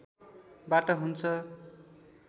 बाट हुन्छ